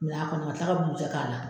Nga a kɔni ka kila ka bugujɛ k'a la.